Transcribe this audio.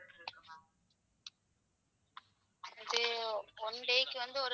அது one day க்கு வந்து.